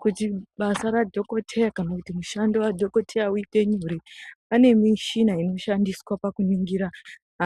Kuti basa radhokoteya kana kuti mushando wadhokoteya uite nyore, panemishina inoshandiswa pakuningira